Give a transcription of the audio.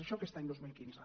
això aquest any dos mil quinze